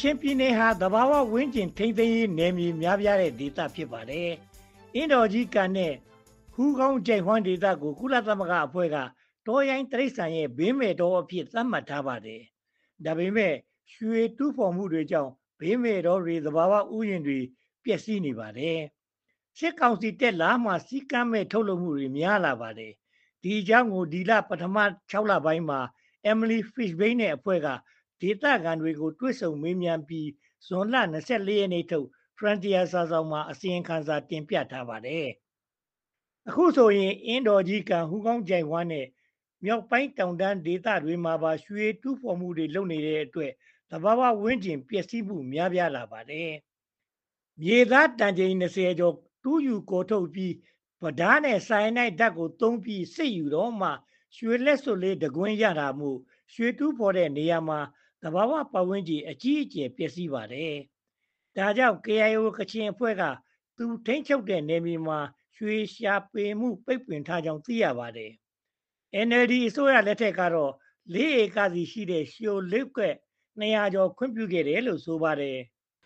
ချင်ပြည်နယ်ဟာ သဘာဝ ဝန်းကျင် ထိန်းသိမ်းရေးနယ်မြေ များပြားတဲ့ဒေသ ဖြစ်ပါတယ်။ အင်းတော်ကြီးကန်နဲ့ ဟူးကောင်းချိုင့်ဝှမ်းဒေသကို ကုလသမဂ္ဂအဖွဲ့က တောရိုင်းတိရစ္ဆာန်များ ဘေးမဲ့တောအဖြစ် သတ်မှတ်ထားပါတယ်။ ဒါပေမဲ့ ရွှေတူးဖေါ်မှုကြောင့် ဘေးမဲ့တောတွေ၊ သဘာဝဥယာဉ်တွေ ပျက်စီးနေပါတယ်။ စစ်ကောင်စီတက်လာမှ စည်းကမ်းမဲ့ ထုတ်လုပ်မှု များပြားလာပါတယ်။ ဒီအကြောင်းကို ဒီနှစ် ပထမ(၆)လပိုင်းမှာ Emily Fishbein နဲ့အဖွဲ့က ဒေသခံတွေကို တွေ့ဆုံမေးမြန်းပြီး၊ ဇွန်လ(၂၄)ရက်နေ့ထုတ် Frontier စာစောင်မှာ အစီရင်ခံစာ တင်ပြထားပါတယ်။ အခုဆိုရင် အင်းတော်ကြီးကန်၊ ဟူးကောင်းချိုင့်ဝှမ်းနဲ့ မြောက်ပိုင်းတောင်တန်းဒေသ တွေမှာပါ ရွှေတူးဖေါ်မှုတွေ လုပ်နေတဲ့အတွက် သဘာဝ ပတ်ဝန်းကျင် ပျက်စီးမှု များလာပါတယ်။ မြေသားတန်ချိန်(၂၀)ကျော် တူးယူကော်ထုတ်ပြီး ပြဒါးနဲ့ Cyanide ဆိုင်ယာနိုက် ဓါတ်ကိုသုံးပြီး စစ်ယူတော့မှ ရွှေလက်စွပ်တကွင်းစာ ရနိုင်တာမို့ ရွှေတူးဖေါ်တဲ့နေရာမှာ သဘာဝပတ်ဝန်းကျင် အကြီးအကျယ် ပျက်စီးရပါတယ်။ ဒါကြောင့် KIO ကချင်အဖွဲ့က သူထိန်းချုပ်တဲ့ နယ်မြေမှာ ရွှေရှာဖွေမှု ပိတ်ပင်ထားကြောင်း သိရပါတယ်။ NLD အစိုးရလက်ထက်ကတော့ (၄)ဧကစီရှိတဲ့ ရွှေလုပ်ကွက် (၂၀၀)ကျော် ခွင့်ပြုခဲ့တယ်လို့ ဆိုပါတယ်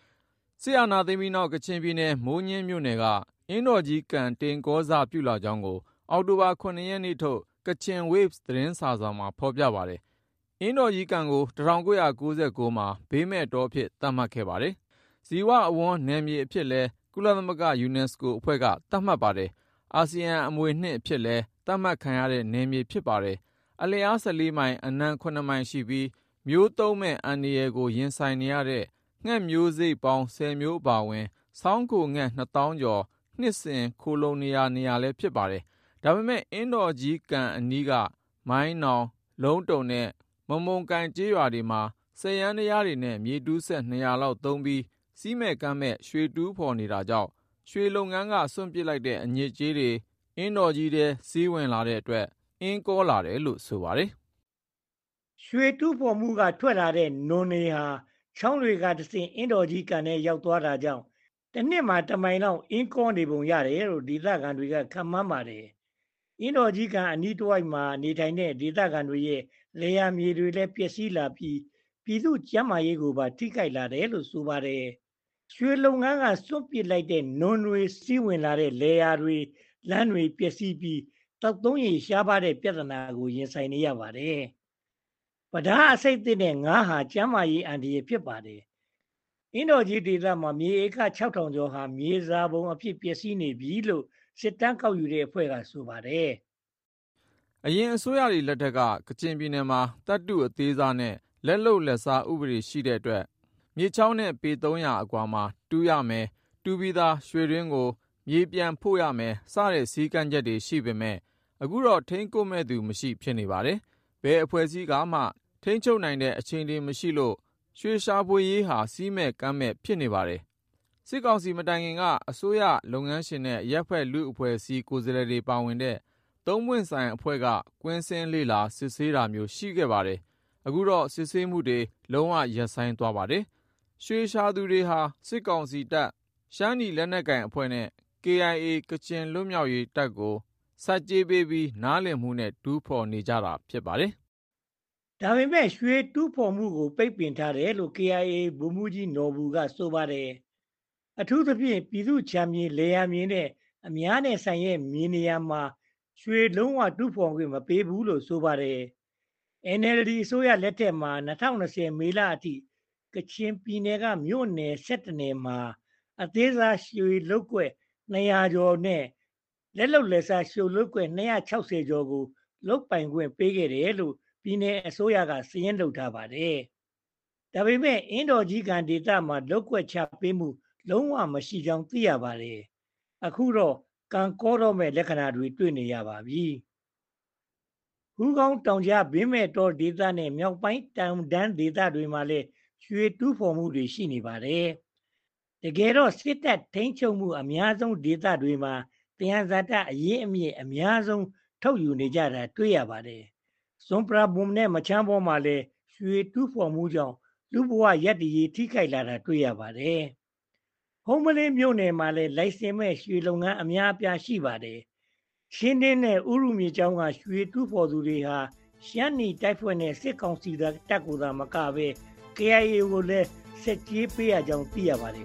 ။ စစ်အာဏာသိမ်းပြီးနောက် ကချင်ပြည်နယ် မိုးညင်းမြို့နယ်က အင်းတော်ကြီးကန် တိမ်ကောစပြုလာကြောင်းကို အောက်တိုဘာ(၇)ရက်နေ့ထုတ် Kachinwaves စာစောင်မှာ ဖေါ်ပြပါတယ်။ အင်းတော်ကြီးကန်ကို ၁၉၉၉ မှာ ဘေးမဲ့တောအဖြစ် သတ်မှတ်ပါတယ်။ ဇီဝအဝန်း နယ်မြေအဖြစ်လည်း ကုလသမဂ္ဂ UNESCO ယူနက်စကိုအဖွဲ့က သတ်မှတ်ပါတယ်။ အာဆီယံ အမွေအနှစ်အဖြစ်လည်း သတ်မှတ်ခံရတဲ့ နယ်မြေ ဖြစ်ပါတယ်။ အလျား(၁၄)မိုင် အနံ(၇)မိုင်ရှိပြီး မျိုးသုဉ်းမယ့်အန္တရာယ်ကို ရင်ဆိုင်နေရတဲ့ ငှက်မျိုးစိတ် (၁၀)မျိုး အပါအဝင် ဆောင်းခိုငှက် နှစ်သောင်းကျော် နှစ်စဉ်ခိုလှုံတဲ့နေရာ နေရာလည်း ဖြစ်ပါတယ်။ ဒါပေမဲ့ အင်းတော်ကြီးကန်အနီးက မိုင်းနောင်၊ လုံးတုံနဲ့ မမုံကိုင် ကျေးရွာတွေမှာ စက်ယန္တယားနဲ့ မြေတူးစက်(၂၀၀)လောက် သုံးပြီး စည်းမဲ့ကမ်းမဲ့ ရွှေတူးဖေါ်နေတာကြောင့် ရွှေလုပ်ငန်းက စွန့်ပစ်လိုက်တဲ့ အညစ်အကြေးတွေ အင်းတော်ကြီးထဲ စီးဝင်လာတဲ့အတွက် အင်း ကောလာတယ်လို့ ဆိုပါတယ်။ ရွှေတူးဖေါ်မှုက ထွက်လာတဲ့ နွံတွေဟာ ချောင်းတွေကတဆင့် အင်းတော်ကြီးကန်ထဲ ရောက်သွားတာကြောင့် တနှစ်မှာ တမိုင်လောက် အင်းကောနေပုံ ရတယ်လို့ ဒေသခံတွေက ခန့်မှန်းပါတယ်။ အင်းတော်ကြီးကန် အနီးတဝိုက်မှာ နေထိုင်တဲ့ ဒေသခံတွေရဲ့ လယ်ယာမြေတွေလည်း ပျက်စီးလာပြီး ၊ ပြည်သူ့ကျန်းမာရေးကိုပါ ထိခိုက်လာတယ်စေတယ်လို့ ဆိုပါတယ်။ ရွှေလုပ်ငန်းက စွန့်ပစ်လိုက်တဲ့ နွံတွေ စီးဝင်လာတဲ့ လယ်ယာမြေရော လမ်းတွေပါ ပျက်စီးပြီး သောက်သုံးရေ ရှားပါးတဲ့ပြဿနာကို ရင်ဆိုင်နေရပါတယ်။ ပြဒါးအဆိပ်သင့်တဲ့ ငါးဟာလည်း ကျန်းမာရေးအန္တရာယ် ဖြစ်ပါတယ်။ အင်းတော်ကြီးဒေသမှာ မြေဧက(၆၀၀၀)ကျော်ဟာ မြေစာပုံအဖြစ် ပျက်စီးနေပြီလို့ စစ်တမ်း ကောက်ယူတဲ့အဖွဲ့က ဆိုပါတယ်။ ယခင် အစိုးရတွေ လက်ထက်က ကချင်ပြည်နယ်မှာ သတ္တုအသေးစားနဲ့ လက်လုပ်လက်စားဥပဒေ ရှိတဲ့အတွက် မြစ်ချောင်းနဲ့ ပေ(၃၀၀)အကွာမှာသာ တူးရမယ် ၊ တူးပြီးသား ရွှေတွင်းကို မြေ ပြန်ဖို့ပေးရမယ် စတဲ့ စည်းကမ်းချက်တွေ ရှိပေမဲ့ အခုတော့ ထိန်းကွပ်မယ့်သူ မရှိပဲ ဖြစ်နေပါတယ်။ ဘယ်အဖွဲ့အစည်းကမှ ထိန်းချုပ်နိုင်တဲ့ အခြေအနေ မရှိလို့၊ ရွှေ ရှာဖွေရေးဟာ စည်းမဲ့ကမ်းမဲ့ ဖြစ်နေပါတယ်။ စစ်ကောင်စီ မတိုင်ခင်က အစိုးရ၊ လုပ်ငန်းရှင်နဲ့ အရပ်ဖက်အဖွဲ့အစည်းကိုယ်စားလှယ်တွေ ပါဝင်တဲ့ သုံးပွင့်ဆိုင်အဖွဲ့က ကွင်းဆင်းလေ့လာ စစ်ဆေးတာမျိုးတွေ ရှိခဲ့ပါတယ်။ အခုတော့ စစ်ဆေးမှုတွေ လုံးဝ ရပ်ဆိုင်းသွားပါတယ်။ ရွှေရှာသူတွေဟာ စစ်ကောင်စီတပ်၊ ရှမ်းနီ လက်နက်ကိုင်အဖွဲ့နဲ့ KIA ကချင်လွတ်မြောက်ရေးတပ်ကို ဆက်ကြေးပေးပြီး နားလည်မှုနဲ့ တူးဖေါ်နေကြတာ ဖြစ်ပါတယ်။ ဒါပေမဲ့ ရွှေတူးဖေါ်မှုကို ပိတ်ပင်ထားတယ်လို့ KIA ပြောခွင့်ရ ဗိုလ်မှူးကြီး နော်ဘူက ဆိုပါတယ်။ အထူးသဖြင့် ပြည်သူ့ခြံမြေ ၊ လယ်ယာမြေနဲ့ အများဆိုင် မြေနေရာတွေမှာ လုံးဝ ရွှေတူးဖေါ်ခွင့် မပေးဘူးလို့ ဆိုပါတယ်။ NLD အစိုးရလက်ထက်မှာ ၂၀၂၀ မေလအထိ ကချင်ပြည်နယ်က မြို့နယ်(၁၁)နယ်မှာ အသေးစား ရွှေလုပ်ကွက်(၂၂၃)ကွက်နဲ့ လက်လုပ်လက်စား ရွှေလုပ်ကွက် (၂၆၂)ကွက်ကို လုပ်ပိုင်ခွင့် ချပေးခဲ့တယ်လို့ ပြည်နယ်အစိုးရက စာရင်းထုတ်ပြန်ထားပါတယ်။ ဒါပေမဲ့ အင်းတော်ကြီးကန်ဒေသမှာ လုပ်ကွက် ချပေးတာမျိုး လုံးဝ မရှိဘူးကြောင်း သိရပါတယ်။ အခုတော့ ကန်ကောမယ့် လက္ခဏာကို တွေ့လာနေရပါပြီ။ ဟူးကောင်းတောင်ကြား ဘေးမဲ့တောဒေသနဲ့ မြောက်ပိုင်းတောင်တန်းဒေသမှာလည်း ရွှေတူးဖေါ်မှုတွေ ရှိနေပါတယ်။ တကယ်တော့ စစ်တပ်ထိန်းချုပ်မှု အများဆုံးဒေသတွေမှာ သယံဇာတအရင်းအမြစ် အများဆုံး ထုတ်ယူကြတာ တွေ့ရပါတယ်။ စွန်ပရာဘွန်နဲ့ မချမ်းဘောမှာလည်း ရွှေတူးဖေါ်မှုကြောင့် လူမှုဘဝ ရပ်တည်ရေး ထိခိုက်လာတာ တွေ့ရပါတယ်။ ဟုမ္မလင်းမြို့နယ်မှာလည်း လိုင်စင်မဲ့ ရွှေလုပ်ငန်း အများအပြားရှိပါတယ်။ ချင်းတွင်းနဲ့ ဥရုမြစ်ကြောင်းမှာ ရွှေတူးဖေါ်သူတွေဟာ ရှမ်းနီတပ်ဖွဲ့နဲ့ စစ်ကောင်စီတပ်ကိုသာ မကပဲ KIA ကိုလည်း ဆက်ကြေး ပေးရကြောင်း သိရပါတယ်